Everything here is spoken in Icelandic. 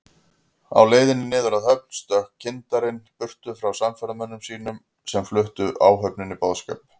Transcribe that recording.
Á leiðinni niður að höfn stökk kyndarinn burtu frá samferðamönnum sínum, sem fluttu áhöfninni boðskap